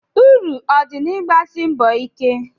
Uru ọ dị na i n'ịgbasi mbọ ike?